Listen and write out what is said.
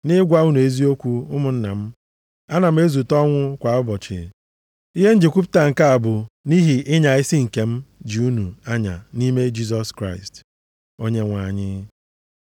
Nʼịgwa unu eziokwu, ụmụnna m, ana m ezute ọnwụ kwa ụbọchị. Ihe m ji kwupụta nke a bụ nʼihi ịnya isi nke m ji unu anya nʼime Jisọs Kraịst, Onyenwe anyị.